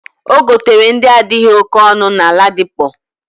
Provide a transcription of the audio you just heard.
Ogotere ndi adighi oke onu na ladipo.